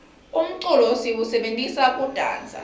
umculo siwusebentisa kudansa